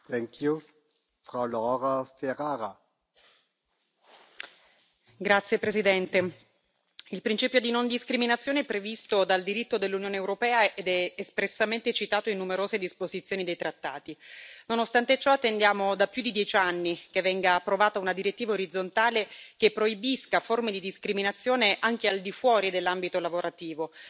Signor Presidente, onorevoli colleghi, il principio di non discriminazione è previsto dal diritto dell'Unione europea ed è espressamente citato in numerose disposizioni dei trattati. Nonostante ciò, attendiamo da più di dieci anni che venga approvata una direttiva orizzontale che proibisca forme di discriminazione, anche al di fuori dell'ambito lavorativo.